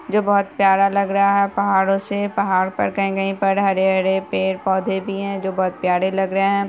जो बहुत प्यारा लग रहा है पहाड़ो से पहाड़ पर कहीं-कहीं पर हरे-हरे पेड़-पौधे भी है जो बहुत प्यारे लग रहे है।